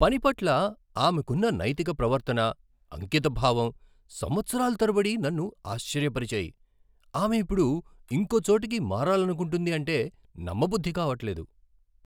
పని పట్ల ఆమెకున్న నైతిక ప్రవర్తన, అంకితభావం సంవత్సరాలు తరబడి నన్నుఆశ్చర్యపరిచాయి, ఆమె ఇప్పుడు ఇంకో చోటికి మారాలనుకుంటుందంటే నమ్మబుద్ధి కావట్లేదు.